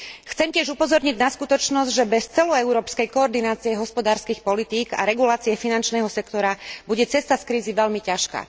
Chcem tiež upozorniť na skutočnosť, že bez celoeurópskej koordinácie hospodárskych politík a regulácie finančného sektora bude cesta z krízy veľmi ťažká.